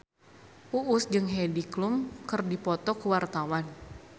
Uus jeung Heidi Klum keur dipoto ku wartawan